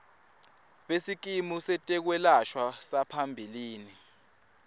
besikimu setekwelashwa saphambilini